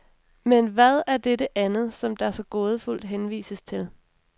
Men hvad er dette andet, som der så gådefuldt henvises til.